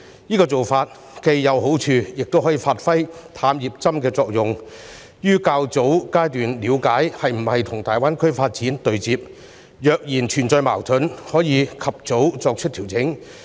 這做法既有好處，亦可以發揮"探熱針"的作用，於較早階段了解政策是否跟大灣區發展對接；若存在矛盾，可以及早作出調整。